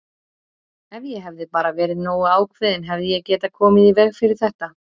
Ef ég hefði bara verið nógu ákveðinn hefði ég getað komið í veg fyrir þetta!